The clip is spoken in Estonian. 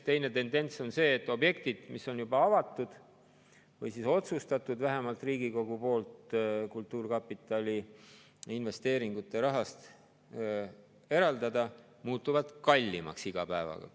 Teine tendents on see, et objektid, mis on avatud või millele on otsustatud vähemalt Riigikogu poolt kultuurkapitali investeeringute raha eraldada, muutuvad iga päevaga kallimaks.